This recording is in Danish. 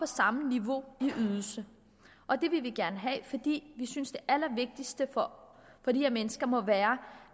samme niveau i ydelse og det vil vi gerne have fordi vi synes det allervigtigste for de her mennesker må være